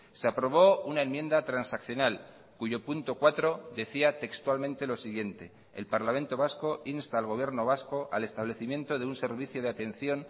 se aprobó una enmienda transaccional cuyo punto cuatro decía textualmente lo siguiente el parlamento vasco insta al gobierno vasco al establecimiento de un servicio de atención